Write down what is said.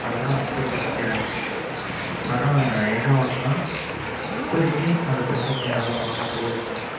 அதுலாம் accept பண்ணிக்கிறேன் ஆனா என்ன ஒன்னு இப்போதைக்கு என்னாலே அந்த product என்னாலே வாங்க முடியாது mam